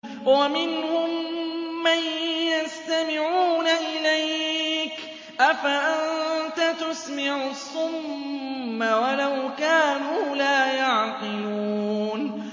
وَمِنْهُم مَّن يَسْتَمِعُونَ إِلَيْكَ ۚ أَفَأَنتَ تُسْمِعُ الصُّمَّ وَلَوْ كَانُوا لَا يَعْقِلُونَ